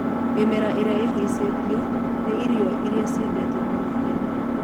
Mĩmera ĩrĩa ĩhĩacĩtwo nĩ irio iria ciendetwo mũno Kenya.